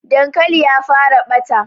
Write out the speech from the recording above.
Dan kwali ya fara ɓata